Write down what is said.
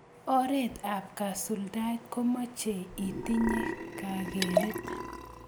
oret ap kasultaet komochei itinye kakeret